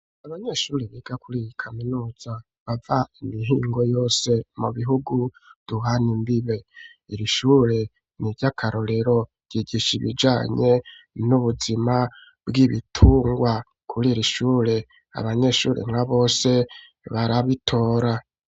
Abanyeshuri biga kuriyi kaminuza bava imihingo yose mu bihugu duhana imbibe iri shure ni iryakarorero yigisha bijanye n'ubuzima bw'ibitungwa kuriri shure abanyeshuri nka bose barabitora